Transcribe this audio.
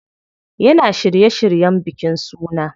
Yana shirye shiryen bikin sunan.